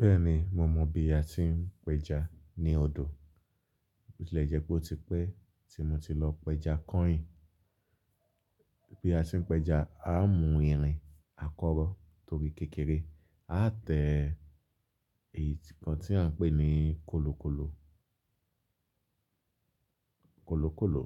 Bẹ́ẹ̀ni, mo mọ̀ bí a ti ń péja ní odò. Bo ti lè jẹ́ pé ó ti pẹ́ tí mo ti lọ péja kọ́yin. Bí a ti ń péja, a mu irin, a kọ́rọ́ torí kékeré. A tẹ èyí tí-- ǹkan tí a ń pè ní kolokolo. Kolokolo